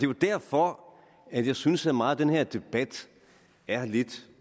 jo derfor at jeg synes at meget af den her debat er lidt